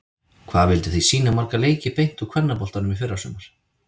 Hvað vilduð þið sýna marga leiki beint úr kvennaboltanum í fyrrasumar?